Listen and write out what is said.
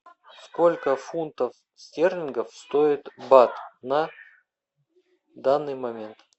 сколько фунтов стерлингов стоит бат на данный момент